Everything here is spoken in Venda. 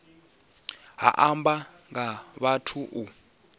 ha amba nga vhathu u